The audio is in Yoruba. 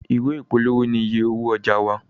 Ìwé ìpolówó ní ìyè owó ọjà wá.